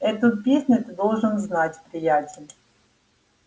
эту песню ты должен знать приятель